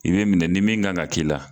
I bɛ minɛ ni min kan ka k'i la